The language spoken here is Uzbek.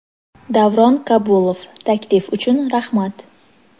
Davron Kabulov, taklif uchun rahmat.